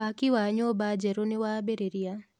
Waki wa nyũmba njerũ nĩwambĩrĩria.